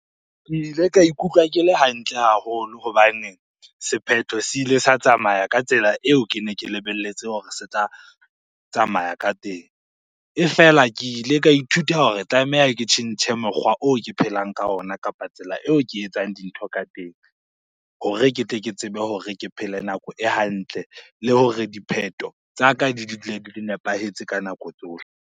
Ke ile ka ikutlwa ke le hantle haholo hobane sephetho se ile sa tsamaya ka tsela eo kene ke lebelletse hore se tla tsamaya ka teng. E fela, ke ile ka ithuta hore tlameha ke tjhentjhe mokgwa oo ke phelang ka ona, kapa tsela eo ke e etsang dintho ka teng hore ke tle ke tsebe hore ke phele nako e hantle. Le hore dipheto tsa ka di dule di nepahetse ka nako tsohle.